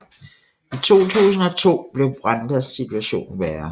I 2002 blev Rwandas situation værre